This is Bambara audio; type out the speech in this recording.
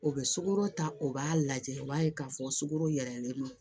O bɛ sukaro ta u b'a lajɛ o b'a ye k'a fɔ sukaro yɛlɛlen don